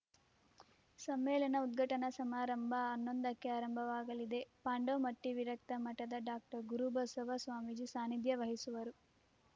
ಸಮ್ಮೇಳನ ಉದ್ಘಾಟನಾ ಸಮಾರಂಭ ಹನ್ನೊಂದಕ್ಕೆ ಆರಂಭವಾಗಲಿದೆ ಪಾಂಡೋಮಟ್ಟಿವಿರಕ್ತ ಮಠದ ಡಾಕ್ಟರ್ ಗುರುಬಸವ ಸ್ವಾಮೀಜಿ ಸಾನಿಧ್ಯ ವಹಿಸುವರು